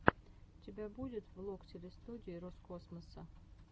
у тебя будет влог телестудии роскосмоса